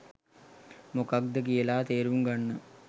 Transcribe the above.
මොකද්ද කියලා තේරුම්ගන්න